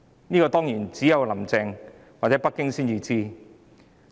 這當然只有"林鄭"或北京才知道。